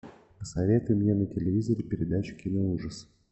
посоветуй мне на телевизоре передачу киноужас